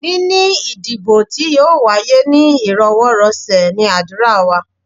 Níní ìdìbò tí yóò wáyé ní íròwọ́rọ̀sẹ̀ ní ádùrá wa.